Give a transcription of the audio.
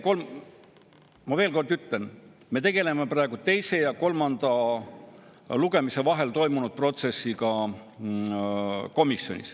Ma veel kord ütlen: me tegeleme praegu teise ja kolmanda lugemise vahel komisjonis toimunud protsessiga.